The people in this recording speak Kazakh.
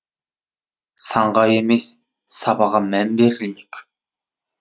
санға емес сапаға мән берілмек